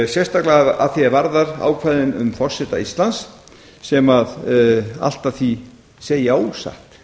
sérstaklega að því er varðar ákvæðin um forseta íslands sem allt að því segja ósatt